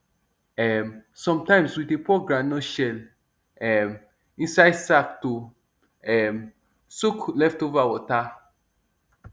um sometimes we dey pour groundnut shell um inside sack to um soak leftover water